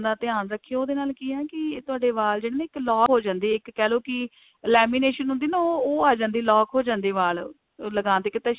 ਦਾ ਧਿਆਨ ਰੱਖੀਓ ਉਹਦੇ ਨਾਲ ਕੀ ਹੈ ਕੀ ਤੁਹਾਡੇ ਵਾਲ ਜਿਹੜੇ ਨੇ ਇੱਕ lock ਹੋ ਜਾਂਦੇ ਨੇ ਇੱਕ ਕਹਿਲੋ ਕੀ lamination ਹੁੰਦੀ ਹੈ ਨਾ ਉਹ ਆ ਜਾਂਦੀ ਹੈ lock ਹੋ ਜਾਂਦੇ ਨੇ ਵਾਲ ਲਗਾਨ ਤੇ ਇੱਕ